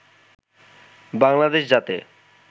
বাংলাদেশ যাতে